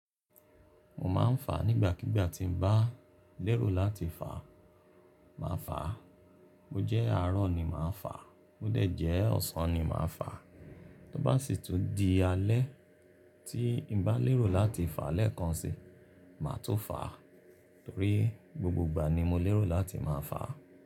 Mo máa ń fà nígbàkígbà tí n bá lérò láti fà, màá fàá. Mo jẹ́ àárọ̀ ni màá fàá, mo dẹ̀ jẹ́ ọ̀sán ni màá fàá. Tó bá sì tún di alẹ́ tí n bá lérò láti fàá lẹ́ẹ̀kan si, màá tun fàá torí, gbogbo ìgbà ni mo lérò láti máa fàá.